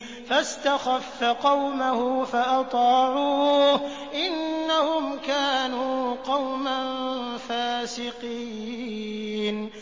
فَاسْتَخَفَّ قَوْمَهُ فَأَطَاعُوهُ ۚ إِنَّهُمْ كَانُوا قَوْمًا فَاسِقِينَ